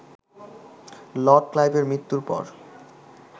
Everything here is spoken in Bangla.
লর্ড ক্লাইভের মৃত্যুর পর